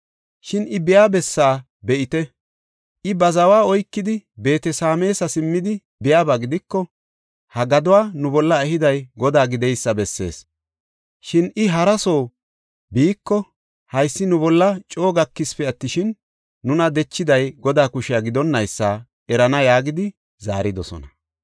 Shin I biya bessa be7ite; I ba zawa oykidi, Beet-Sameesa simmidi biyaba gidiko, ha gaduwa nu bolla ehiday Godaa gideysa bessees. Shin I hara soo biiko haysi nu bolla coo gakisipe attishin, nuna dechiday Godaa kushe gidonnaysa erana” yaagidi zaaridosona.